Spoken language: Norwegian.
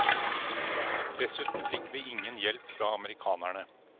Dessuten fikk vi ingen hjelp fra amerikanerne.